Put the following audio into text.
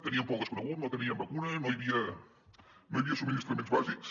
teníem por al desconegut no teníem vacunes no hi havia subministraments bàsics